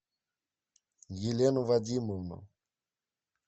елену вадимовну